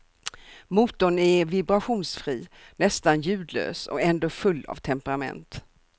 Motorn är vibrationsfri, nästan ljudlös och ändå full av temperament.